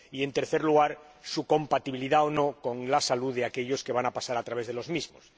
y, en tercer lugar, su compatibilidad o no con la salud de aquellos que van a pasar a través de los mismos.